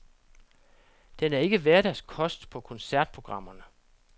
Den er ikke hverdagskost på koncertprogrammerne.